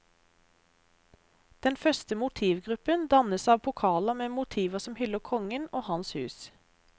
Den første motivgruppen dannes av pokaler med motiver som hyller kongen og hans hus.